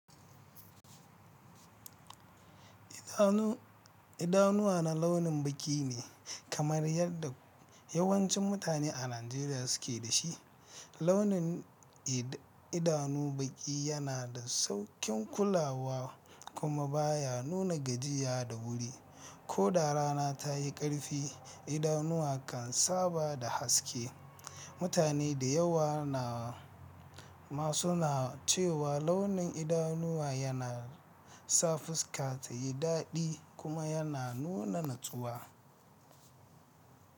Idanu idanuwa na launin baki ne kamar yadda yawancin mutane a Najeriya suke da shi. Launin idanu baƙi yana da sauƙin kulawa kuma baya nuna gajiya da wuri. Ko da rana ta yi ƙarfi, idanuwa kan saba da haske. Mutane da yawa na ma suna cewa launin idanuwa yana sa fuska ta yi daɗi kuma yana nuna natsuwa.